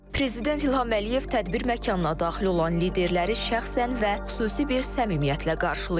Prezident İlham Əliyev tədbir məkanına daxil olan liderləri şəxsən və xüsusi bir səmimiyyətlə qarşılayır.